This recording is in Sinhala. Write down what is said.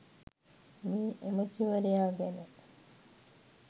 මේ ඇමැතිවරයා ගැන